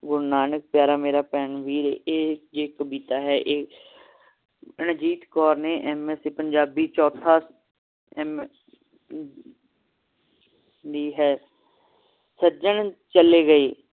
ਗੁਰੂ ਨਾਨਕ ਪਿਆਰਾ ਭੈਣ ਨਾਨਕੀ ਦਾ ਵੀਰ ਏ ਇਹ ਇਕ ਕਵਿਤਾ ਹੈ ਮਨਜੀਤ ਕੌਰ ਨੇ MSc ਪੰਜਾਬੀ ਚੌਥੀ ਲਿਖੀ ਹੈ ਸੱਜਣ ਚਲੇ ਗਏ